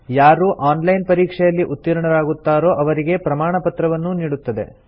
ಯಾರು online ಪರೀಕ್ಷೆಯಲ್ಲಿ ಉತ್ತೀರ್ಣರಾಗುತ್ತಾರೋ ಅವರಿಗೆ ಪ್ರಮಾಣಪತ್ರವನ್ನೂ ನೀಡುತ್ತದೆ